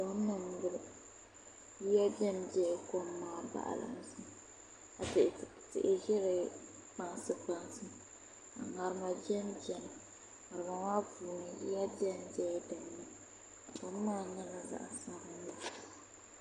Kom n boŋo yoya ʒɛnʒɛla kom maa baɣalinsi ka tihi ʒɛ di kpansi ka ŋarima biɛn biɛni ŋarima maa puuni yiya biɛnbiɛla dinni kom maa nyɛla zaɣ sabinli